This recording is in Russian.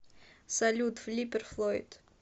салют флиппер флойд